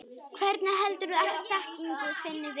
Hvernig heldurðu þekkingu þinni við?